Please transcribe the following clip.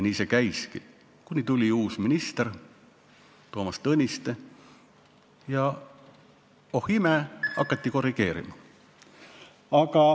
Nii see käiski, kuni tuli uus minister, Toomas Tõniste, ja oh imet, hakati korrigeerima.